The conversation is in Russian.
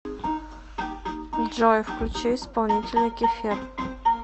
джой включи исполнителя кефир